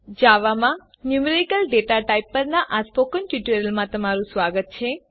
જાવામાં numerical data types પરનાં spoken ટ્યુટોરીયલમાં સ્વાગત છે